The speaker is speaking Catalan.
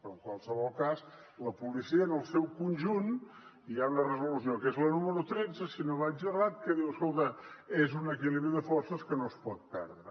però en qualsevol cas la policia en el seu conjunt hi ha una resolució que és la número tretze si no vaig errat que diu escolta és un equilibri de forces que no es pot perdre